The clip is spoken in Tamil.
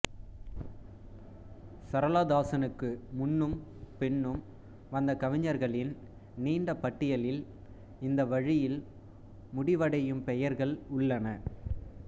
சரளா தாசனுக்கு முன்னும் பின்னும் வந்த கவிஞர்களின் நீண்ட பட்டியலில் இந்த வழியில் முடிவடையும் பெயர்கள் உள்ளன